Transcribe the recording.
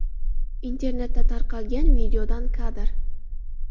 Internetda tarqalgan videodan kadr.